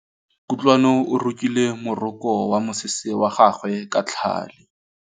Kutlwanô o rokile morokô wa mosese wa gagwe ka tlhale.